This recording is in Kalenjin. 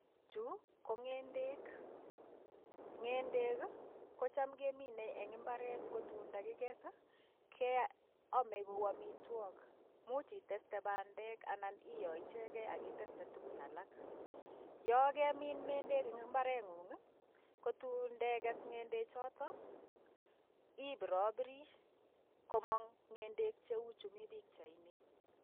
Chu ko ng'endek, ng'endek ko ham keminei eng imbaret, ndakikes keamei kou amitwak. much iteste pandek anan iam koichegei ak iteste tukun alak. Yo kemin ng'endek eng imbareng'ung, kotuun ndekes ng'endechotok ibirobiri, komang ng'endek cheu chemi pichaini.